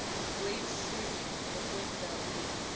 great seal ngokwedabuko